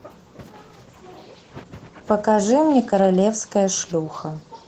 покажи мне королевская шлюха